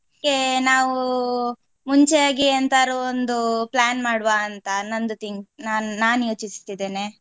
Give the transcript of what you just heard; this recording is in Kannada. ಅದ್ಕೆ ನಾವು ಮುಂಚೆಯಾಗಿ ಎಂತಾರು ಒಂದು plan ಮಾಡುವ ಅಂತ ನಂದು think ನಾನ್ ನಾವು ಯೋಚಿಸ್ತಿದ್ದೇನೆ.